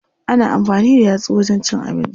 Ana amfani da yatsu wajen cin abinci.